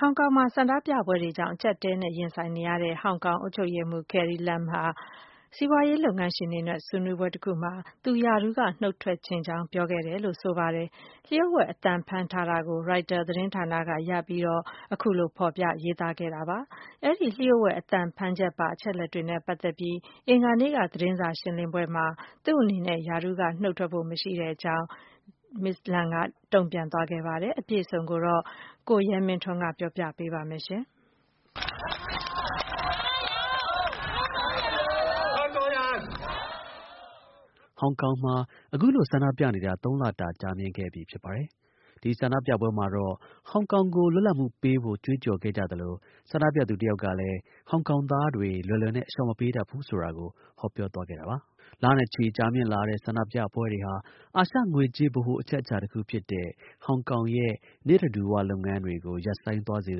ဟောင်ကောင်မှာ ဆန္ဒပြပွဲတွေကြောင့် အကျပ်အတည်း ရင်ဆိုင်နေတဲ့ ဟောင်ကောင် အုပ်ချုပ်ရေးမှူး Carrie Lam ဟာ စီးပွားရေးလုပ်ငန်းရှင်တွေနဲ့ တွေ့ဆုံ ဆွေးနွေးပွဲတစ်ခုမှာ သူ့အနေနဲ့ ရာထူးက နုတ်ထွက်ချင်ကြောင်း ပြောခဲ့တယ်လို့ ဆိုပါတယ်။ လျှို့ဝှက် အသံဖမ်းထားချက်ကို ရိုက်တာ သတင်းဌာနက ရရှိပြီး ဖော်ပြရေးသားခဲ့တာပါ။ အဲဒီ လျှို့ဝှက် အသံဖမ်းချက်ပါ အချက်အလက်တွေနဲ့ ပတ်သက်ပြီး အင်္ဂါနေ့က ပြုလုပ်ခဲ့တဲ့ သတင်းစာ ရှင်းလင်းပွဲမှာတော့ သူ့အနေနဲ့ ရာထူးက နုတ်ထွက်ဖို့ မရှိကြောင်း ဟောင်ကောင် အုပ်ချုပ်ရေးမှူး Carrie Lam ကတုံ့ပြန်ပြောဆိုခဲ့ ပါတယ်။ အပြည့်အစုံကို ကိုရဲမင်းထွန်းက တင်ပြပေးပါမယ်။ ဟောင်ကောင်မှာ အခုလို ဆန္ဒပြနေတာ ၃ လတာ ကြာမြင့်ခဲ့ပြီ ဖြစ်ပါတယ်။ ဒီ ဆန္ဒပြပွဲမှာ ဟောင်ကောင်ကို လွတ်လပ်မှုပေးဖို့ ကြွေးကြော် ခဲ့ကြသလို ဆန္ဒပြသူတစ်ယောက်ကလည်း ဟောင်ကောင်သားတွေ လွယ်လွယ်နဲ့ အလျှော့မပေးတတ်ဘူးဆိုတာကို ဟောပြောသွားခဲ့တာပါ။ လချီ ကြာမြင့်လာတဲ့ ဆန္ဒပြပွဲတွေဟာ အာရှ ငွေကြေး ဗဟို အချက်အခြာတစ်ခုဖြစ်တဲ့ ဟောင်ကောင် ရဲ့ နေ့တဓူ၀ လုပ်ငန်းတွေကို ရပ်ဆိုင်း သွားစေ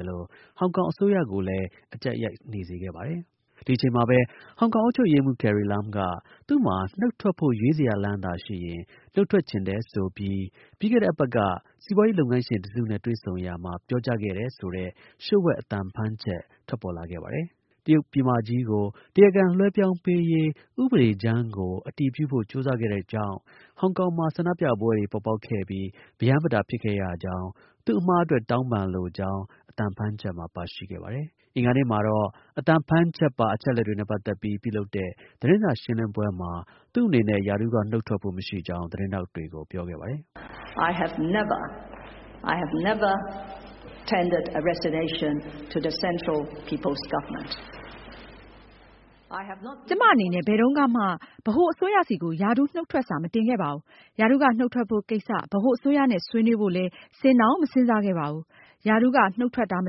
သလို ဟောင်ကောင် အစိုးရကိုလည်း အကျပ်ရိုက် နေစေခဲ့ပါတယ်။ ဒီ အချိန်မှာပဲ ဟောင်ကောင်အုပ်ချုပ်ရေးမှူး Carrie Lam က သူ့မှာ နုတ်ထွက်ဖို့ ရွေးစရာလမ်းသာ ရှိရင် နုတ်ထွက်ချင်တယ်ဆိုပြီး ပြီးခဲ့တဲ့အပတ်က စီးပွားရေး လုပ်ငန်းရှင်တစ်စု နဲ့ တွေ့ဆုံရာမှာ ပြောကြားခဲ့တယ်ဆိုတဲ့ လျှို့ဝှက် အသံဖမ်းချက် ထွက်ပေါ်လာခဲ့ပါတယ်။ တရုတ်ပြည်မကြီးကို တရားခံ လွှဲပြောင်းရေး ဥပဒေကြမ်း ကို အတည်ပြုဖို့ ကြိုးစားခဲ့တဲ့ သူ့ကြောင့် ဟောင်ကောင်မှာ ဆန္ဒပြပွဲတွေ ပေါ်ပေါက်ခဲ့ပြီး ပရမ်းပတာ ဖြစ်ခဲ့ရကြောင်း၊ သူ့အမှား အတွက် တောင်းပန်လိုကြောင်း အသံဖမ်း ချက်မှာ ပါရှိခဲ့ပါတယ်။ အင်္ဂါနေ့မှာတော့ အသံဖမ်းချက်ပါ အချက်အလက်တွေနဲ့ ပတ်သက်ပြီး ပြုလုပ်တဲ့ သတင်းစာ ရှင်းလင်းပွဲမှာ သူ့အနေနဲ့ ရာထူးက နုတ်ထွက်ဖို့ မရှိကြောင်း သတင်းထောက်တွေကို ပြောခဲ့ပါတယ်။ “ကျွန်မ အနေနဲ့ ဘယ်တုန်းကမှ ဗဟို အစိုးရ ဆီကို ရာထူးနုတ်ထွက်စာ မတင်ခဲ့ပါဘူး။ ရာထူုးက နုတ်ထွက်ဖို့ကိစ္စ ဗဟို အစိုးရနဲ့ ဆွေးနွေးဖို့ လည်း စဉ်းတောင် မစဉ်းစားခဲ့ပါဘူး။ ရာထူးက နုတ်ထွက် မ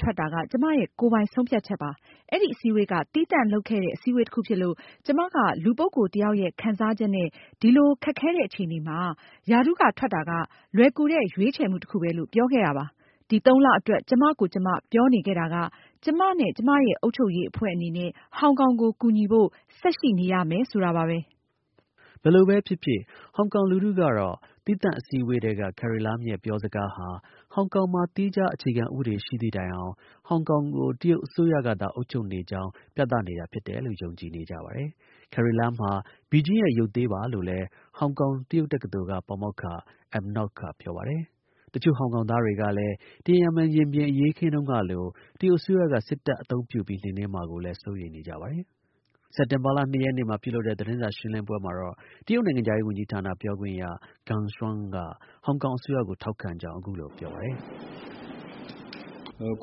ထွက်က ကျွန်မရဲ့ ကိုယ်ပိုင် ဆုံးဖြတ်ချက်ပါ။ အဲဒီ အစည်းအဝေးက သီးသန့် လုပ်ခဲ့တဲ့ အစည်းအဝေးတစ်ခုဖြစ်လို့ ကျွန်မက လူ ပုဂ္ဂိုလ် တစ်ယောက်ရဲ့ ခံစားချက်နဲ့ ဒီလို ခက်ခဲတဲ့ အခြေအနေမှာ ရာထူးက ထွက်တာက လွယ်ကူတဲ့ ရွေးချယ်မှု တစ်ခုပဲလို့ ပြောခဲ့တာပါ။ ဒီ သုံးလအတွက် ကျွန်မကိုယ် ကျွန်မ ပြောနေခဲ့တာက ကျွန်မနဲ့ ကျွန်မရဲ့ အုပ်ချုပ်ရေး အဖွဲ့အနေနဲ့ ဟောင်ကောင်ကို ကူညီဖို့ ဆက်ရှိနေရမယ်ဆိုတာပါပဲ။” ဘယ်လိုပဲဖြစ်ဖြစ် ဟောင်ကောင် လူထုကတော့ သီးသန့်အစည်းအဝေးထဲက Carrie Lam ရဲ့ပြောစကားဟာ ဟောင်ကောင်မှာ သီးခြား အခြေခံဥပဒေ ရှိတဲ့တိုင်အောင် ဟောင်ကောင်ကို တရုတ်အစိုးရ ကသာ အုပ်ချုပ်နေကြောင်း ပြသနေတယ်လို့ ယုံကြည်နေကြပါတယ်။ Carrie Lam ဟာ ဘီဂျင်းရဲ့ ရုပ်သေးပါလို့လည်း ဟောင်ကောင် တရုတ်တက္ကသိုလ်က ပါမောက္ခ Ma Ngok က ပြောပါတယ်။ တစ်ချို့ ဟောင်ကောင်သားတွေကလည်း တီအင်ရင်မင် ရင်ပြင် အရေးအခင်းတုန်းကလို တရုတ် အစိုးရက စစ်တပ် အသုံးပြု ပြီး နှိမ်နင်းမှာကို စိုးရိမ်နေကြပါတယ်။ စက်တင်ဘာလ ၂ ရက်နေ့မှာ ပြုလုပ်တဲ့ သတင်းစာ ရှင်းလင်းပွဲမှာတော့ တရုတ် နိုင်ငံခြားရေး ဝန်ကြီးဌာန ပြောခွင့်ရ Geng Shuang က ဟောင်ကောင် အစိုးရကို ထောက်ခံကြောင်း အခုလို ပြောပါတယ်။ “ဟောင်က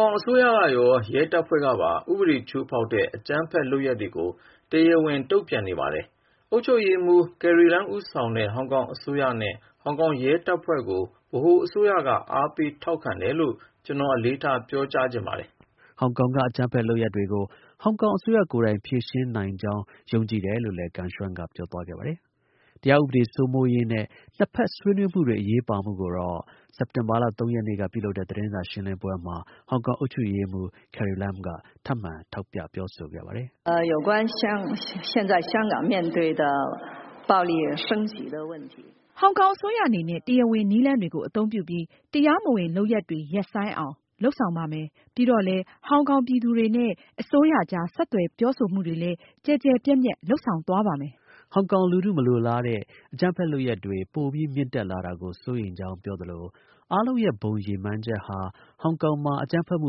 ောင် အစိုးရကရော ရဲတပ်ဖွဲ့ကပါ ဥပဒေ ချိုးဖောက်တဲ့ အကြမ်းဖက်လုပ်ရပ်တွေကို တရားဝင် တုံ့ပြန်နေပါတယ်။ အုပ်ချုပ်ရေးမှူး Carrie Lam ဦးဆောင်တဲ့ ဟောင်ကောင် အစိုးရနဲ့ ဟောင်ကောင် ရဲတပ်ဖွဲ့ကို ဗဟို အစိုးရက အားပေးထောက်ခံတယ်လို့ ကျွန်တော် အလေးထား ပြောကြားချင်ပါတယ်။” ဟောင်ကောင်က အကြမ်းဖက်လုပ်ရပ်တွေကို ဟောင်ကောင် အစိုးရကိုယ်တိုင် ဖြေရှင်းနိုင်ကြောင်း ယုံကြည်တယ်လို့လည်း Geng Shuang က ပြောသွားခဲ့ပါတယ်။ တရား ဥပဒေ စိုးမိုးရေး နဲ့ နှစ်ဖက် ဆွေးနွေးပွဲတွေ အရေးပါမှုကိုတော့ စက်တင်ဘာလ ၃ ရက်နေ့က ပြုလုပ်တဲ့ သတင်းစာ ရှင်းလင်းပွဲမှာပဲ ဟောင်ကောင် အုပ်ချုပ်ရေးမှူး Carrie Lam က လည်း ထပ်မံ ထောက်ပြ ပြောဆိုခဲ့ပါတယ်။ “ဟောင်ကောင် အစိုးရအနေနဲ့ တရားဝင် နည်းလမ်းတွေကို အသုံးပြုပြီး တရားမဝင် လုပ်ရပ်တွေ ရပ်ဆိုင်းဆောင် လုပ်ဆောင်ပါမယ်။ ပြီးတော့လည်း ဟောင်ကောင်နေ ပြည်သူတွေနဲ့ အစိုးရကြား ဆက်သွယ် ပြောဆိုမှုတွေ လည်း ကျယ်ကျယ်ပြန့်ပြန့် လုပ်ဆောင်သွားပါမယ်။” ဟောင်ကောင် လူထု မလိုလားတဲ့ အကြမ်းဖက် လုပ်ရပ်တွေ ပိုပြီး မြင့်တက်လာတာကို စိုးရိမ်ကြောင်း ပြောသလို အားလုံးရဲ့ ဘုံ ရည်မှန်းချက် ဟာ ဟောင်ကောင်မှာ အကြမ်းဖက်မှု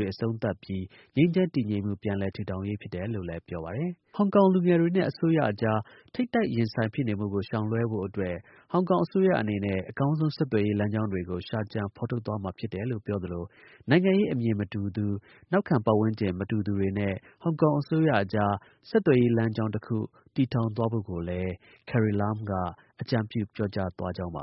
တွေ အဆုံးသတ်ပြီး ငြိမ်းချမ်း တည်ငြိမ်မှု ပြန်လည် ထူထောင်ရေးဖြစ်တယ်လို့လည်း ပြောပါတယ်။ ဟောင်ကောင်လူငယ်တွေနဲ့ အစိုးရအကြား ထိပ်တိုက် ရင်ဆိုင်ဖြစ်နေမှုကို ရှောင်လွှဲဖို့အတွက် ဟောင်ကောင်အစိုးရအနေနဲ့ အကောင်းဆုံး ဆက်သွယ်ရေး လမ်းကြောင်းတွေကို ရှာကြံ ဖော်ထုတ်သွားမှာဖြစ်တယ်လို့ ပြောသလို နိုင်ငံရေး အမြင်မတူသူ နောက်ခံ ပတ်ဝန်းကျင် မတူသူတွေနဲ့ ဟောင်ကောင် အစိုးရအကြား ဆက်သွယ်ရေး လမ်းကြောင်း တစ်ခု တည်ထောင်သွားဖို့ကိုလည်း အကြံပြု ပြောကြားသွား ကြောင်းပါ